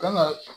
Kan ka